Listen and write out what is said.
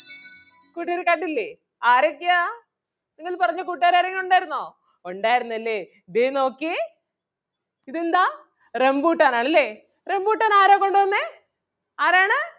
കൂട്ടുകാര് കണ്ടില്ലേ ആരൊക്കെയാ നിങ്ങള് പറഞ്ഞ കൂട്ടുകാര് ആരെങ്കിലും ഉണ്ടാരുന്നോ? ഉണ്ടാരുന്നല്ലേ? ദേ നോക്കിയേ ഇതെന്താ റംബൂട്ടാൻ അല്ലേ? റംബൂട്ടാൻ ആരാ കൊണ്ടുവന്നേ ആരാണ്?